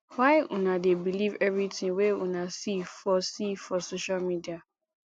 why una dey believe everytin wey una see for see for social media